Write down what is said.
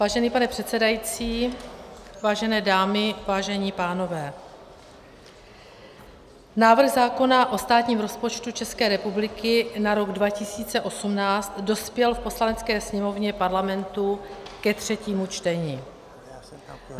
Vážený pane předsedající, vážené dámy, vážení pánové, návrh zákona o státním rozpočtu České republiky na rok 2018 dospěl v Poslanecké sněmovně Parlamentu ke třetímu čtení.